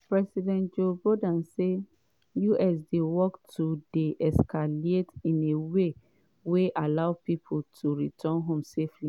president joe biden say us dey “work to de-escalate in a way wey allow pipo to return home safely”.